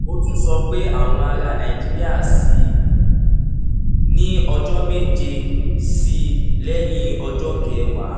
ó tún sọ pé àwọn ará nàìjíríà ṣì ní ọjọ́ méje sí i lẹ́yìn ọjọ́ kẹwàá